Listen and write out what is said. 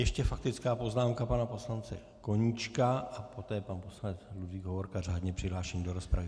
Ještě faktická poznámka pana poslance Koníčka a poté pan poslanec Ludvík Hovorka, řádně přihlášený do rozpravy.